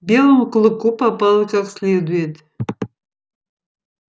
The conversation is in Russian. белому клыку попало как следует